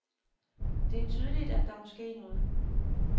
Det er tydeligt, at der må ske noget.